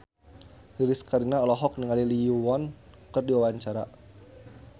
Lilis Karlina olohok ningali Lee Yo Won keur diwawancara